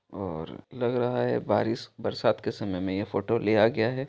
और लग रहा है बारिश बरसात के समय मे ये फोटो लिया गया है।